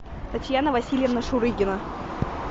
татьяна васильевна шурыгина